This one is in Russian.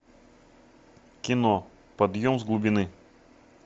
кино подъем с глубины